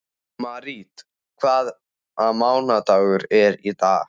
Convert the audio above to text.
Marít, hvaða mánaðardagur er í dag?